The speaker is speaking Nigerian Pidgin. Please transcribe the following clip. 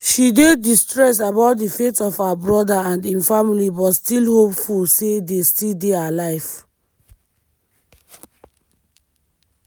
she dey distressed about di fate of her brother and im family but still hopeful say dey still dey alive.